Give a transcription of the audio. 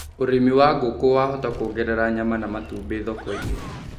ũrĩmĩwa ngũkũ wahota kuongerera nyama na matubĩthoko - ĩni